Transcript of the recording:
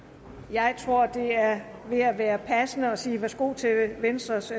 jeg tror det er ved at være passende at sige værsgo til venstres